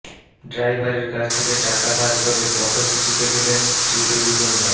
ড্রাইভারের কাছ থেকে টাকা ধার করে পথশিশুকে দিলেন শ্রীদেবীকন্যা